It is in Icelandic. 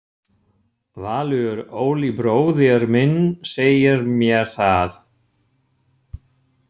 Valur: Óli bróðir minn segir mér það.